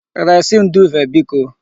Resi m duuve biko!